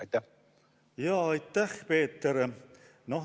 Aitäh, Peeter!